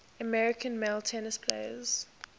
american male tennis players